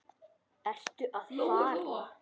Ertu að fara?